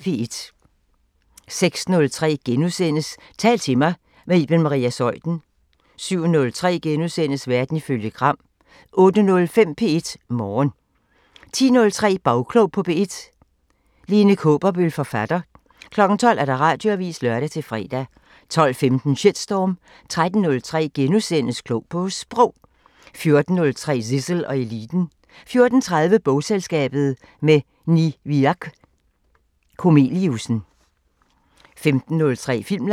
06:03: Tal til mig – med Iben Maria Zeuthen * 07:03: Verden ifølge Gram * 08:05: P1 Morgen 10:03: Bagklog på P1: Lene Kaaberbøl, forfatter 12:00: Radioavisen (lør-fre) 12:15: Shitstorm 13:03: Klog på Sprog * 14:03: Zissel og Eliten 14:30: Bogselskabet – med Niviaq Korneliussen 15:03: Filmland